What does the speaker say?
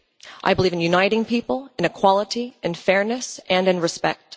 I believe in uniting people, in equality and fairness, and in respect.